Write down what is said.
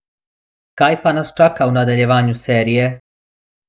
Kaj pa nas čaka v nadaljevanju serije?